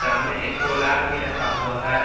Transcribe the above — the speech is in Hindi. सामने एक सोलार भी रखा हुआ है।